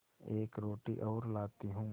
एक रोटी और लाती हूँ